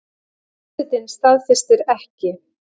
Forsetinn staðfestir ekki